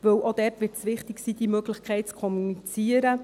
Denn auch dort wird es wichtig sein, diese Möglichkeit zu kommunizieren.